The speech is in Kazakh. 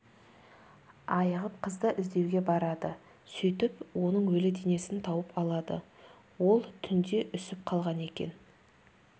айығып қызды іздеуге барады сөйтіп оның өлі денесін тауып алады ол түнде үсіп қалған екен